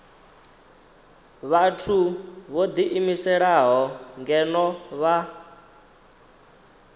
vhathu vho ḓiimiselaho ngeno vha